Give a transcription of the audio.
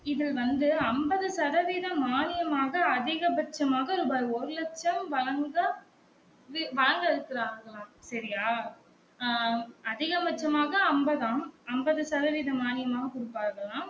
இது வந்து ஐம்பது சதவீதம் மானியம் ஆகா அதிகபட்சமாக ரூபாய் ஒரு லட்சம் வழங்க வழங்க இருக்கிறார்கலாம் சரியா ஆம் அதிக பட்சமாக ஐம்பதாம் அம்பது சதவிதம் மானியமாக குடுப்பார்கலாம்